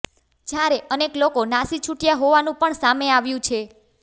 જ્યારે અનેક લોકો નાસી છૂટ્યા હોવાનું પણ સામે આવ્યું છે